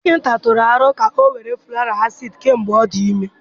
Dọkịta tụrụ aro ka ọ were folic acid kemgbe ọ dị ime.